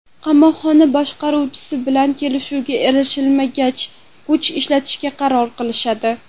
Qamoqxona boshqaruvchisi bilan kelishuvga erishilmagach, kuch ishlatishga qaror qilishadi.